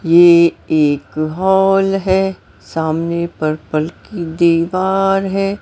ये एक हॉल है सामने परपल की दीवार है।